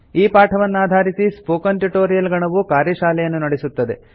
ಈ ಪಾಠವನ್ನಾಧಾರಿಸಿ spoken tutorial ಗಣವು ಕಾರ್ಯಶಾಲೆಯನ್ನು ನಡೆಸುತ್ತದೆ